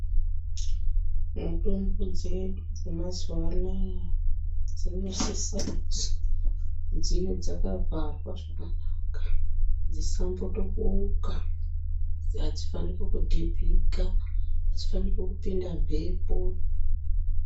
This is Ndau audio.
Mutombo dzedu dze mazuva anaya dzino sisa kuzi dzive dzaka vharwa zvakanaka dzi satombo boka adzi faniki ku dhibhika adzi faniki kupinda mhepo.